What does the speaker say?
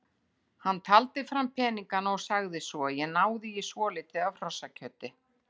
Hann taldi fram peningana og sagði svo: Ég náði í svolítið af hrossakjöti.